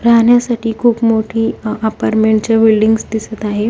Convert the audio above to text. राहण्यासाठी खूप मोठी अ अपार्टमेंटच्या बिल्डिंग्स दिसत आहेत.